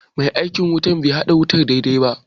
Mai aikin wutan be haɗa wutar daidai ba